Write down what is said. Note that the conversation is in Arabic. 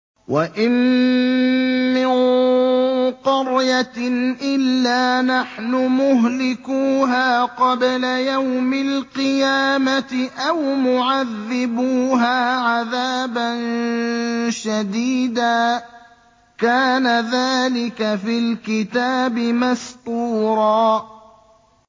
وَإِن مِّن قَرْيَةٍ إِلَّا نَحْنُ مُهْلِكُوهَا قَبْلَ يَوْمِ الْقِيَامَةِ أَوْ مُعَذِّبُوهَا عَذَابًا شَدِيدًا ۚ كَانَ ذَٰلِكَ فِي الْكِتَابِ مَسْطُورًا